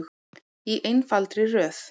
Í einfaldri röð.